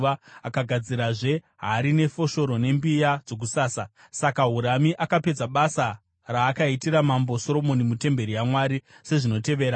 Akagadzirazve hari nefoshoro nembiya dzokusasa. Saka Hurami akapedza basa raakaitira mambo Soromoni mutemberi yaMwari sezvinotevera: